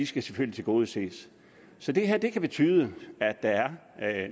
skal tilgodeses så det her kan betyde at der er